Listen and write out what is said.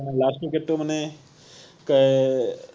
last wicket টো মানে এৰ